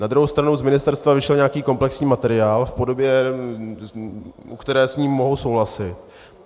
Na druhou stranu z ministerstva vyšel nějaký komplexní materiál v podobě, u které s ní mohu souhlasit.